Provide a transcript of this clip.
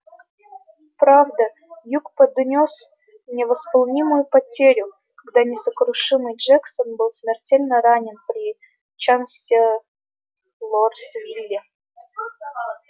правда юг понёс невосполнимую потерю когда несокрушимый джексон был смертельно ранен при чанселорсвилле